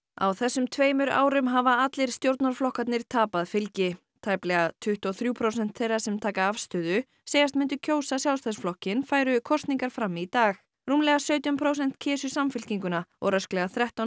á þessum tveimur árum hafa allir stjórnarflokkarnir tapað fylgi tæplega tuttugu og þrjú prósent þeirra sem taka afstöðu segjast myndu kjósa Sjálfstæðisflokkinn færu kosningar fram í dag rúmlega sautján prósent kysu Samfylkinguna og rösklega þrettán